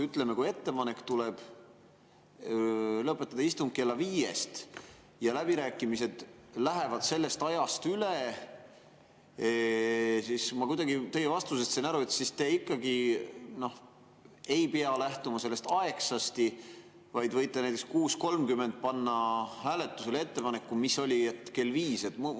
Ütleme, kui tuleb ettepanek lõpetada istung kella viiest, aga läbirääkimised lähevad sellest ajast üle, siis, ma kuidagi teie vastusest sain aru, te ikkagi ei pea lähtuma sellest "aegsasti", vaid võite näiteks 6.30 panna hääletusele ettepaneku, mis oli, et kell viis.